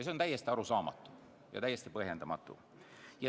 See on täiesti arusaamatu ja täiesti põhjendamatu.